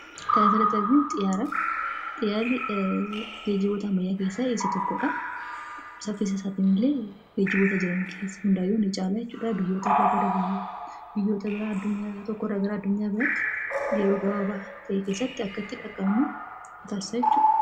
Kan asirratti arginu xiyyaara. Xiyyaarri geejjiboota ammayyaa keessaa isa tokko dha. Saffisa isaatiin illee geejjiboota jiran hundaayyuu ni caala jechuudha. Biyyoota irraa biyyoota biraa, addunyaa tokko irraa gara addunyaa biraatti yeroo gabaabaabl ta'e keessatti akka dhaqqabnu nu taasisa jechuudha.